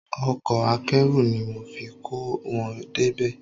Ọkọ akẹ́rù ni mo fi kó wọn débí